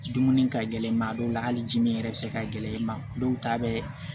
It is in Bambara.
Dumuni ka gɛlɛn maa dɔw la hali dimin yɛrɛ bɛ se ka gɛlɛn i ma dɔw ta bɛ